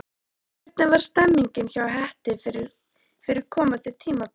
Hvernig er stemningin hjá Hetti fyrir komandi tímabil?